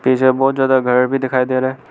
पीछे बहोत ज्यादा घर भी दिखाई दे रहा है।